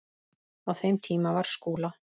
Á þeim tíma var Skúla